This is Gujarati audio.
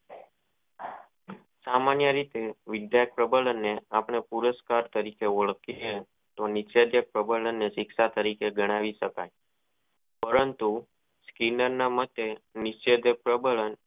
સામાન્ય રિયે વિદ્યા પ્રબળ અને આપણે પુરસ્કાર તરીકે ઓળખીયે તો જે નીચે પ્રબંન અને શિક્ષા તરીકે જણાવી શકાય પરંતુ કિન ન ના માટે નિશયદાત પ્રબળ અને